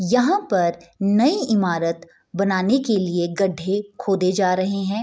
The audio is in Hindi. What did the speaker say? यहाँ पर नई ईमारत बनाने के लिए गढ़े खोदे जा रहे हैं |